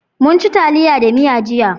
Munci taliya da miya jiya.